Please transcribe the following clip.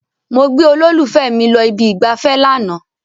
Mo gbé olólùfẹ́ mi lọ ibi ìgbafẹ́ lánàá.